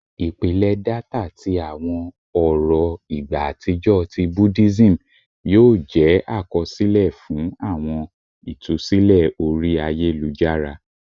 Ipilẹ data ti awọn ọrọ igba atijọ ti Budism yoo jẹ akọsilẹ fun awọn itusilẹ ori ayelujara